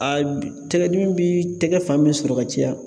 A tɛgɛdimi bi tɛgɛ fan bɛɛ sɔrɔ ka caya